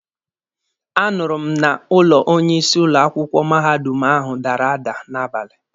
A nụrụ m na ụlọ onye isi ụlọ akwụkwọ mahadum ahụ dara ada n'abalị.